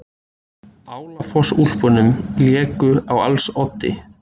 Álafossúlpunum léku á als oddi.